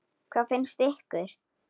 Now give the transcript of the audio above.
Hvað finnst ykkur?